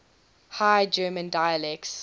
high german dialects